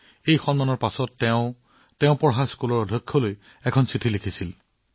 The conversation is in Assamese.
এই সন্মানৰ পিছত তেওঁ তেওঁৰ বিদ্যালয়ৰ অধ্যক্ষলৈ এখন পত্ৰ লিখিছিল